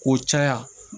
K'o caya